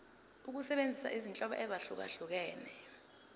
ukusebenzisa izinhlobo ezahlukehlukene